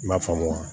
I m'a faamu wa